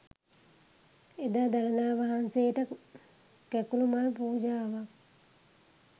එදා දළදා වහන්සේට කැකුළු මල් පූජාවක්